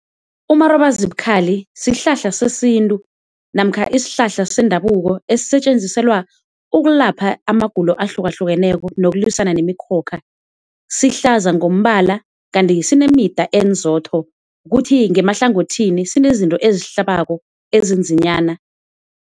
Umarobazibukhali sihlahla sesintu namkha isihlahla sendabuko esisetjenziselwa ukulapha amagulo ahlukahlukaneko nokulwisana nemikhokha, sihlaza ngombala kanti sinemida enzotho kuthi ngemahlangothini sinezinto ezihlabako ezinzinyana.